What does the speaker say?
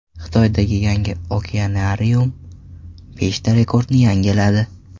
Xitoydagi yangi okeanarium beshta rekordni yangiladi.